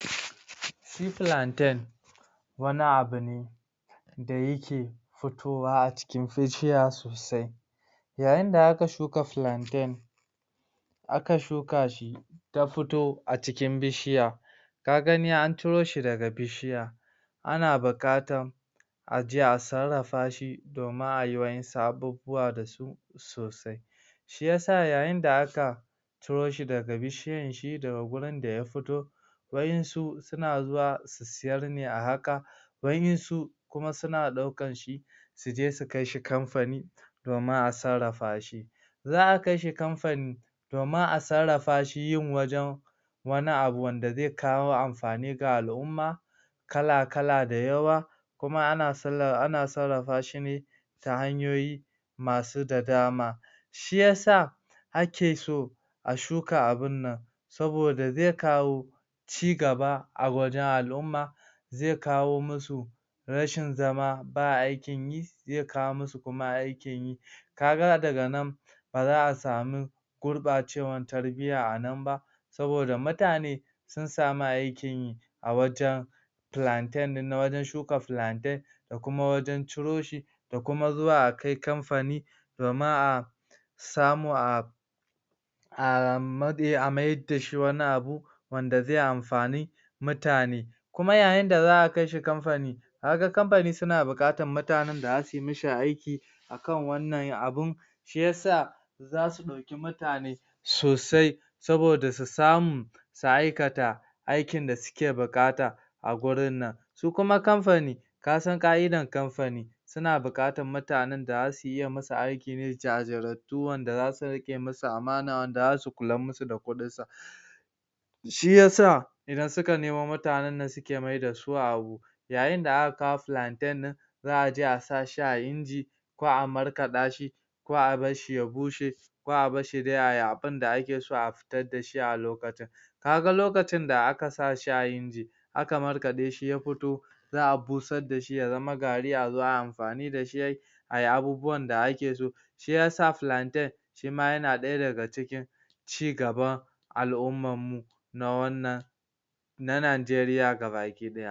shi plantain wani abu ne da take fitowa a cikin bishiya sosai yayinda aka shuka plantain aka shuka shi ta futo a cikin bishiya ka gani an ciro shi daga bishiya ana buƙatan aje a sarrafa shi domin ai waʼansu abubuwa dasu sosai shiya sa yayin da aka ciro shi daga bishiyan shi daga gurin daya fito waʼansu suna zuwa su siyar siyar ne a haka waʼansu kuma suna ɗaukanshi suje su kaishi kamfani domin a sarrafashi zaʼa kaishi kamfani domin a sarrafa shi yin wajen wani abu wanda ze kawo amfani ga alʼumma kala kala da yawa kuma ana sarrafashi ne ta hanyoyi masu da dama shiyasa ake so a shuka abinnan saboda ze kawo ci gaba a wajen alʼumma ze kawo musu rashin zama ba aikin yi, ze kawo musu kuma aikin yi kaga daga nan baza a samu gurɓacewar tarbiyya a nan ba saboda mutane sun samu aikin yi awajen plantain, na wajen shuka plantain da kuma wajen ciro shi da kuma zuwa a kai kamfani domin a samu a a mayar dashi wani abu wanda ze amfani mutane kuma yayinda zaʼa kaishi kamfani kaga kamfani suna buƙatar mutanen da zasuyi mishi aiki akan wannan abun shiyasa zasu ɗauki mutane sosai soboda su samu su aikata aikin da suke buƙata a gurin nan su kuma kamfani kasan ƙaʼidar kamfani suna buƙatar mutanen da zasu iya yi musu aiki ne, jajirtattu wanda zasu riƙe musu amana, wanda zasu kular musu da kuɗin su shiya sa ida suka nemo mutanen nan suke maidasu abu yayin da aka kawo plantain ɗin zaʼaje a sashi a inji ko a markaɗashi ko abarshi ya bushe ko a barshi dai ai abunda ake so a fitar dashi a lokacin kaga lokacin da ska sashi a inji aka markaɗe shi ya fito za a busar dashi ya zama gari a zo ai amfani dashi ai abubuwan da ake so shiyasa plantain shima yana ɗaya daga cikin ci gaban alʼummarmu ci gaban alʼummammu na wannan na Nigeria ga baki ɗaya